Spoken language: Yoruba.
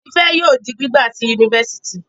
Tife yóò rí gbígba sí Yunifásitì